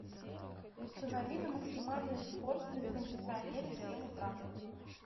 установи на максимальную скорость на кондиционере в семь утра